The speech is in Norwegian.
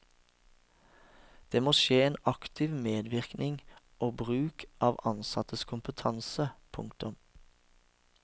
Det må skje en aktiv medvirkning og bruk av ansattes kompetanse. punktum